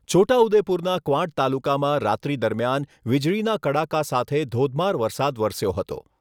છોટા ઉદ્દેપુરના ક્વાંટ તાલુકામાં રાત્રી દરમિયાન વિજળીના કડાકા સાથે ધોધમાર વરસાદ વરસ્યો હતો.